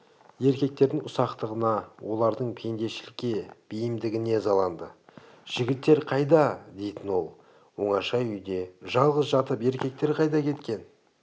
еркектердің ұсақтығына олардың пендешілікке бейімдігіне ызаланды жігіттер қайда дейтін ол оңаша үйде жалғыз жатып еркектер қайда кеткен